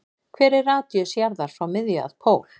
Hver er radíus jarðar frá miðju að pól?